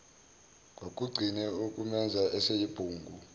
kwakugcine ukumenza eseyibhungu